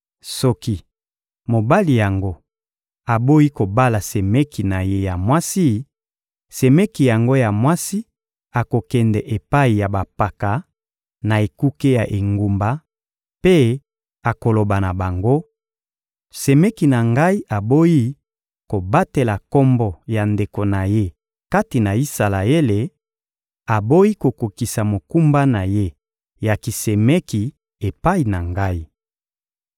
Soki mobali yango aboyi kobala semeki na ye ya mwasi, semeki yango ya mwasi akokende epai ya bampaka, na ekuke ya engumba, mpe akoloba na bango: «Semeki na ngai aboyi kobatela kombo ya ndeko na ye kati na Isalaele, aboyi kokokisa mokumba na ye ya kisemeki epai na ngai.»